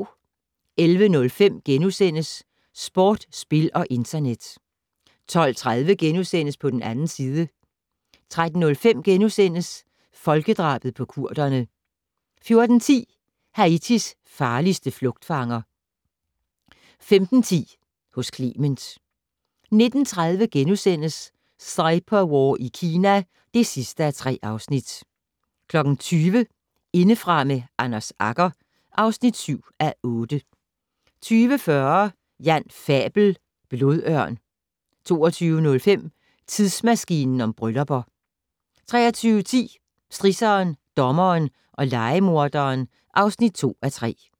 11:05: Sport, spil og internet * 12:30: På den 2. side * 13:05: Folkedrabet på kurderne * 14:10: Haitis farligste flugtfanger 15:10: Hos Clement 19:30: Cyberwar i Kina (3:3)* 20:00: Indefra med Anders Agger (7:8) 20:40: Jan Fabel: Blodørn 22:05: Tidsmaskinen om bryllupper 23:10: Strisseren, dommeren og lejemorderen (2:3)